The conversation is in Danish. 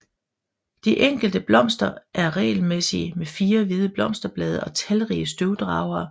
De enkelte blomster er regelmæssige med 4 hvide blosterblade og talrige støvdragere